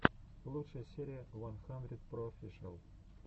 лучшая серия уан хандридпроофишиал